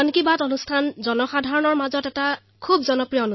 মন কী বাত কাৰ্যসূচী জনতাৰ মাজত অতিশয় জনপ্ৰিয়